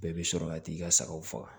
Bɛɛ bi sɔrɔ ka t'i ka sagaw faga